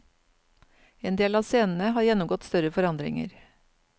En del av scenene har gjennomgått større forandringer.